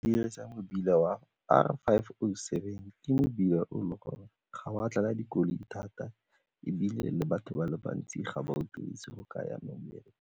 Dirisa mebila wa R five oh seven, ke mebila o le gore ga o a tlala dikoloi thata ebile le batho ba le bantsi ga ba o dirise go ka ya mmerekong.